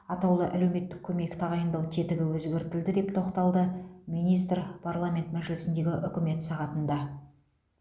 атаулы әлеуметтік көмек тағайындау тетігі өзгертілді деп тоқталды министр парламент мәжілісіндегі үкімет сағатында